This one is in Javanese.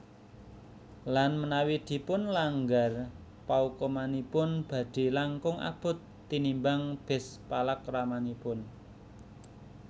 Lan menawi dipunlanggar paukumanipun badhe langkung abot tinimbang bes palakramanipun